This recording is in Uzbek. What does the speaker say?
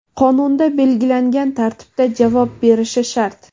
qonunda belgilangan tartibda javob berishi shart.